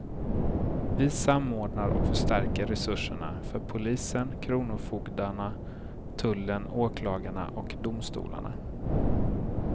Vi samordnar och förstärker resurserna för polisen, kronofogdarna, tullen, åklagarna och domstolarna.